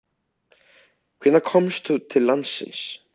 Hvenær komstu til landsins?